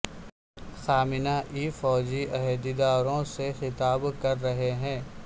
خامنہ ای فوجی عہدیداروں سے خطاب کر رہے ہیں